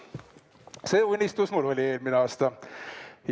See unistus mul oli eelmine aasta.